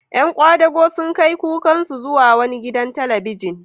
Ƴan kwadago sun kai kukansu zuwa wani gidan talabijin.